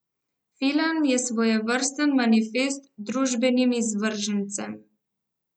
Film je svojevrsten manifest družbenim izvržencem.